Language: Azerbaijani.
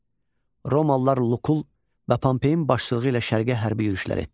Romalılar Lukul və Pompeyin başçılığı ilə Şərqə hərbi yürüşlər etdilər.